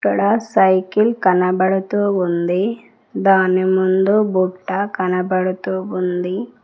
ఇక్కడ సైకిల్ కనబడుతూ ఉంది దాని ముందు బుట్ట కనబడుతూ ఉంది.